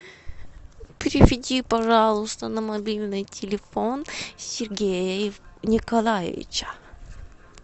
переведи пожалуйста на мобильный телефон сергея николаевича